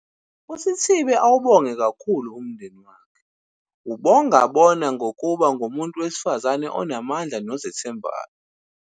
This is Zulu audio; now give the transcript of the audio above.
uSithibe awubonge kakhulu umndeni wakhe, ubongabona ngokuba ngumuntu wesifazane onamandla nozethembayo.